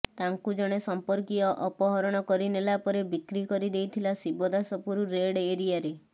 ତାଙ୍କୁ ଜଣେ ସଂପର୍କୀୟ ଅପହରଣ କରିନେଲା ପରେ ବିକ୍ରି କରିଦେଇଥିଲା ଶିବଦାସପୁର ରେଡ଼ ଏରିଆରେ